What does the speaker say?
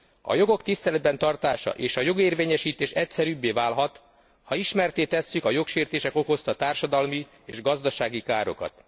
A jogok tiszteletben tartása és a jogérvényesítés egyszerűbbé válhat, ha ismertté tesszük a jogsértések okozta társadalmi és gazdasági károkat.